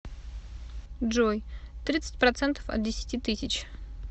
джой тридцать процентов от десяти тысяч